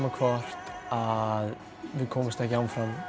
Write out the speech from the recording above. hvort að við komumst ekki áfram